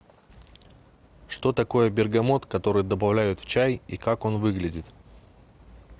что такое бергамот который добавляют в чай и как он выглядит